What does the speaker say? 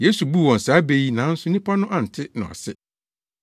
Yesu buu wɔn saa bɛ yi nanso nnipa no ante no ase.